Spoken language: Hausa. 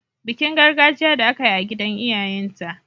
Bikin gargajiya da aka yi a gidan iyayenta.